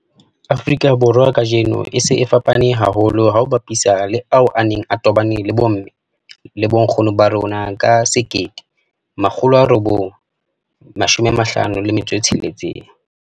Afrika Borwa kajeno a se a fapane haholo ha o a bapisa le ao a neng a tobane le bomme le bonkgono ba rona ka 1956.